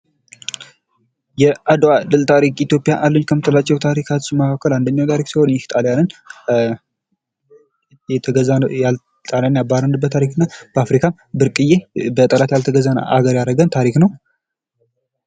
የአድዋ ድል ታሪክ ኢትዮጵያ አለኝ ከምትላቸው ታሪክ ውስጥ አንደኛው ታሪክ ሲሆን ጣሊያንን ያባረርንበት ታሪክና ብርቅዬ በጠላት ያልተገዛን አገር ያረገን ታሪክ ነው።